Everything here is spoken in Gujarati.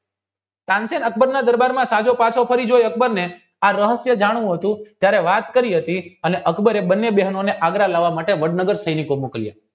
તાનસેન અકબર ના દરબારમાં અકબરે આ રહસ્ય જાણવું હતું ત્યારે વાત કરી હતી અને અકબરે બને બહેનોને આગ્ર લાવવા માટે વડનગર સૈનિકો મોકલ્યા